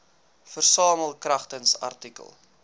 versamel kragtens artikel